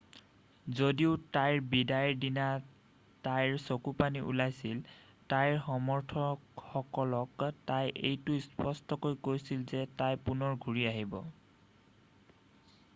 যদিও তাইৰ বিদায়ৰ দিনা তাইৰ চকুপানী ওলাইছিল তাইৰ সমৰ্থকসকলক তাই এইটো স্পষ্টকৈ কৈছিল যে তাই পুনৰ ঘূৰি আহিব